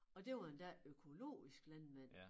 Og det var endda økologiske landmænd